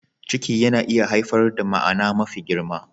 Ciki yana iya haifar da ma'ana mafi girma.